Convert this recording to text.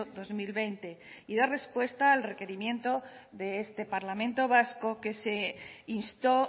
dos mil veinte y dar respuesta al requerimiento de este parlamento vasco que se instó